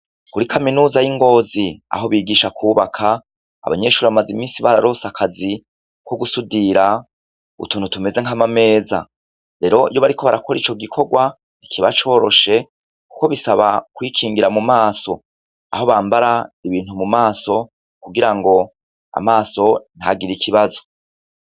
Kuri kaminuza yi ngozi aho bigisha kubaka abanyeshure bamaze iminsi bararonse akazi kogusudira utuntu tumeze nkamameza rero iyo bariko barakora ico gikorwa ntikiba coroshe kuko bisaba kwikingira mumaso aho bambara ibintu mumaso kugira ngo amaso ntagire ikibazo